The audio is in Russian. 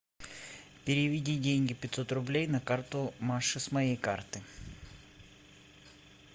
переведи деньги пятьсот рублей на карту маши с моей карты